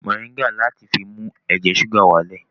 Mọ̀ríńgà láti fi mú ẹ̀jẹ̀ ṣúgà wá lẹ̀